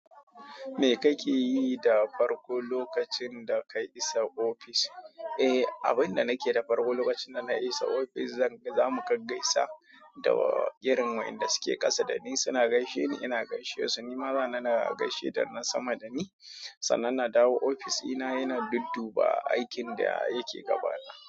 Me kake yi da farko lokacin da ka isa ofis? A abin da nake da farko, lokacin dana i sa ofis, zan-zamu gaggaisa irin wa'inda da suke kasa dani suna gaishe ni ina gaishe su, nima zani na gaishe da na sama dani. Sannan na dawo ofis ina yana dudduba aikin da yake gabana.